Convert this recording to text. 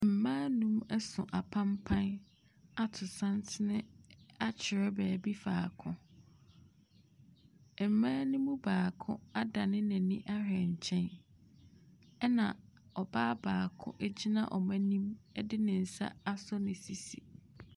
Mmaa nnum ɛso apanpan ato santene akyerɛ baabi faako. Mmaa no mu baako adane n'ani ahwɛ nkyɛn ɛna ɔbaa baako egyina wɔn ɛnim ɛde ne nsa aso ne sisi.